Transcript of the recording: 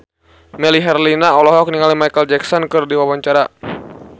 Melly Herlina olohok ningali Micheal Jackson keur diwawancara